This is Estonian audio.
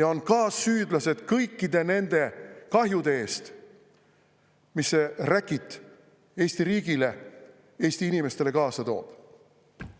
ja on kaassüüdlased kõikide nende kahjude eest, mis see räkit Eesti riigile, Eesti inimestele kaasa toob.